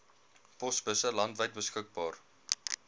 posbusse landwyd beskikbaar